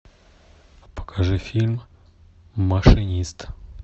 покажи фильм машинист